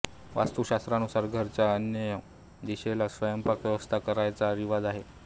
वास्तुशास्त्रानुसार घराच्या अग्नेय दिशेला स्वयंपाक व्यवस्था करण्याचा रिवाज आहे